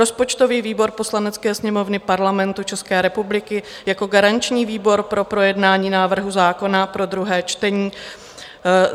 Rozpočtový výbor Poslanecké sněmovny Parlamentu České republiky jako garanční výbor pro projednání návrhu zákona pro druhé čtení